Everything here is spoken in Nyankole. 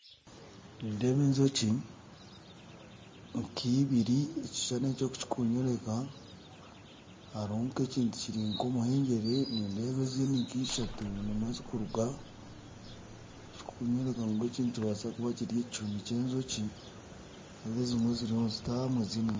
Nindeeba enjoki nk'eibiri ekishushani eki oku kirikunyoreka hariho nk'ekintu kiri nk'omuhengyere nindeeba ezindi nk'ishatu nimwo zirikuruga ekirikunyoreka gu eki nikibaasa kuba kiri ekihoomi ky'enjoki nindeeba ezimwe ziriyo nizitahamu ezindi nizishohora